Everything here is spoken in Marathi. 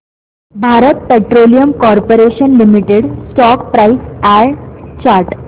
Bharat petroleum corporation limited stock price and chart